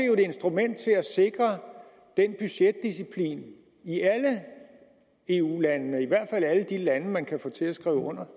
jo et instrument til at sikre budgetdisciplin i alle eu landene eller i hvert fald i alle de lande man kan få til at skrive under